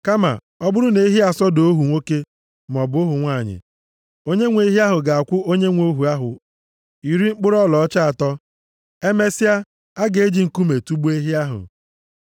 Kama ọ bụrụ na ehi asọda ohu nwoke maọbụ ohu nwanyị, onyenwe ehi ahụ ga-akwụ onyenwe ohu ahụ iri mkpụrụ ọlaọcha atọ. + 21:32 Iri mkpụrụ ọlaọcha atọ bụ ọnụahịa a na-ere maọbụ jiri zụta ohu. \+xt Zek 11:12,13; Mat 26:13; 27:3,9\+xt* Emesịa, a ga-eji nkume tugbuo ehi ahụ.